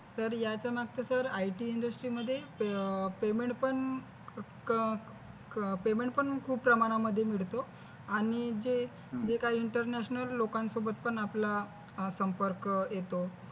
Sir याचयामागचं पण IT industry मध्ये payment पण खूप प्रमाणामध्ये मिळतो आणि जे जे काही international लोकांसोबत पण आपला संपर्क येतो.